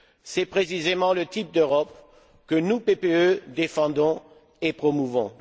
C'est précisément le type d'Europe que nous, PPE, défendons et promouvons.